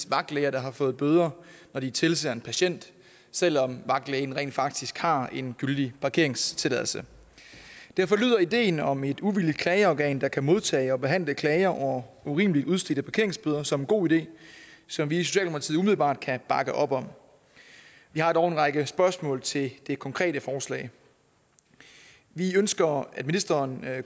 vagtlæger der har fået bøder når de tilser en patient selv om vagtlægen rent faktisk har en gyldig parkeringstilladelse derfor lyder ideen om et uvildigt klageorgan der kan modtage og behandle klager over urimeligt udstedte parkeringsbøder som en god idé som vi i socialdemokratiet umiddelbart kan bakke op om vi har dog en række spørgsmål til det konkrete forslag vi ønsker at ministeren